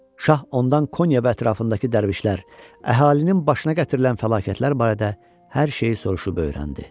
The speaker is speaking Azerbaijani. Şah ondan Konya və ətrafındakı dərvişlər, əhalinin başına gətirilən fəlakətlər barədə hər şeyi soruşub öyrəndi.